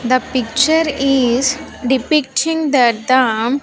The picture is depicting that the --